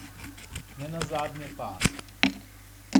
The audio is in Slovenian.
Nenazadnje pa.